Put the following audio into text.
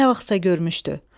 Nə vaxtsa görmüşdü.